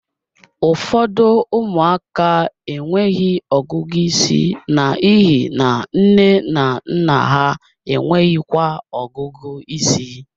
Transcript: Ụfọdụ ụmụaka enweghị ọgụgụ isi n'ihi na nne na nna ha enweghịkwa ọgụgụ ịsị